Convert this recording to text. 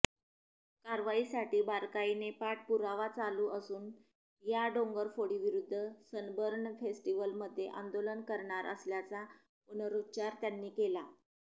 कारवाईसाठी बारकाईने पाठपुरावा चालू असून या डोंगरफोडीविरुद्ध सनबर्न फेस्टीव्हलमध्ये आंदोलन करणार असल्याचा पुनरुच्चार त्यांनी केला